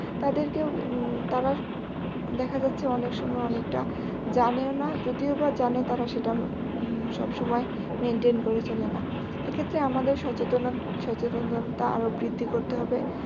তাদেরকেও উম তারা দেখা যাচ্ছে অনেক সময় অনেকটা জানেও না যদিও বা জানে তারা সেটা উম সবসময় maintain করে চলে না এক্ষেত্রে আমাদের সচেতনতা আরো বৃদ্ধি করতে হবে